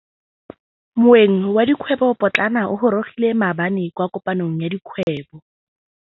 Moêng wa dikgwêbô pôtlana o gorogile maabane kwa kopanong ya dikgwêbô.